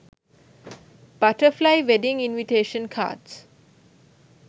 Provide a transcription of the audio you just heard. butterfly wedding invitation cards